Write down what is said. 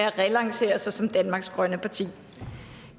at relancere sig som danmarks grønne parti